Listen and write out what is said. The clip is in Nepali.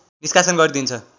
निष्कासन गरिदिन्छ